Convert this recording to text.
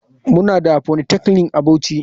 Muna da polytechnic a bauchi.